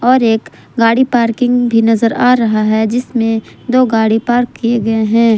और एक गाड़ी पार्किंग भी नजर आ रहे है जिसमें दो गाड़ी पार्क किए गए हैं।